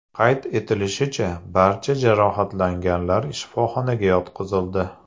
Qayd etilishicha, barcha jarohatlanganlar shifoxonaga yotqizildi.